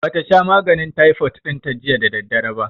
Ba ta sha maganin taifot ɗin ta jiya da daddare ba